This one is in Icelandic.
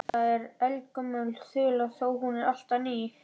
Þetta er eldgömul þula þó er hún alltaf ný.